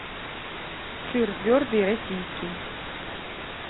сыр твердый российский